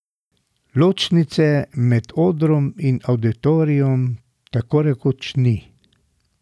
Ločnice med odrom in avditorijem tako rekoč ni.